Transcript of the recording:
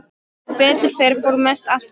Sem betur fer fór mest allt fram hjá.